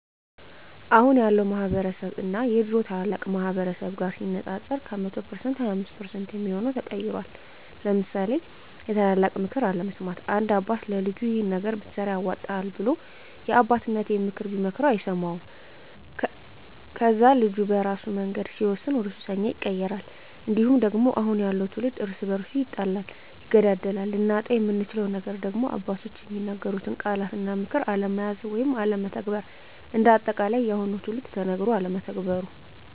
አሁን ያለው ማህበረስብ እና የድሮ ታላላቅ ማህበረሰብ ጋር ሲነፃፀር ከ100% 25% የሚሆው ተቀይሯል ለምሳሌ የታላላቅ ምክር አለመስማት፦ አንድ አባት ለልጁ ይሄን ነገር ብትሰራ ያዋጣሀል ብሎ የአባቴነተን ምክር ቢመክረው አይሰማውም ከዛ ልጁ በራሱ መንገድ ሲወስን ወደሱሰኛ ይቀየራል። እንዲሁም ደግሞ አሁን ያለው ትውልድ እርስ በርሱ ይጣላል ይገዳደላል። ልናጣው የምንችለው ነገር ደግሞ አባቶች የሚናገሩትን ቃላት እና ምክር አለመያዝ ወይም አለመተግበር። እንደ አጠቃላይ የአሁኑ ትውልድ ተነገሮ አለመተግበሩ